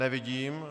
Nevidím.